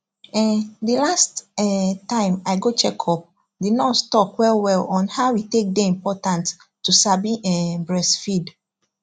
ehnnnthe last um time i go check upthe nurse talk well well on how e take day important to sabi um breastfeed